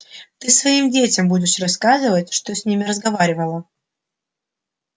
ты своим детям будешь рассказывать что с ним разговаривала